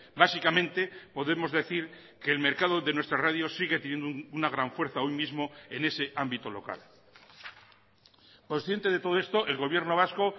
básicamente podemos decir que el mercado de nuestras radios sigue teniendo una gran fuerza hoy mismo en ese ámbito local consciente de todo esto el gobierno vasco